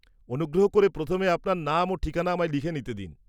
অনুগ্রহ করে প্রথমে আপনার নাম ও ঠিকানা আমায় লিখে নিতে দিন।